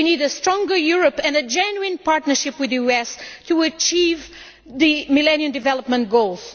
We need a stronger Europe and a genuine partnership with the US to achieve the Millennium Development Goals.